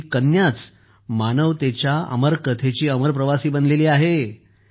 आपली कन्या मानवतेच्या अमर कथेची अमर प्रवासी बनली आहे